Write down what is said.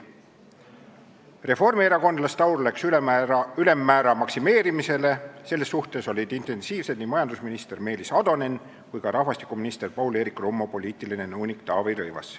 " Reformierakondlaste aur läks ülemmäära maksimeerimisele, selles suhtes olid intensiivsed nii majandusminister Meelis Atonen kui ka rahvastikuminister Paul-Eerik Rummo poliitiline nõunik Taavi Rõivas.